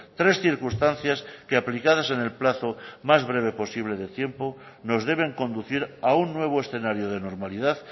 tres circunstancias que aplicadas en el plazo más breve posible de tiempo nos deben conducir a un nuevo escenario de normalidad